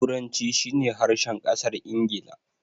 Turanci shi ne harshen ƙasar Ingila.